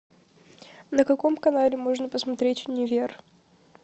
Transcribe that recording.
на каком канале можно посмотреть универ